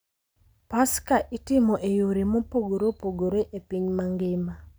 Paska itimo e yore mopogore opogore e piny mangima,